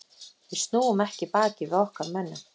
Við snúum ekki baki við okkar mönnum.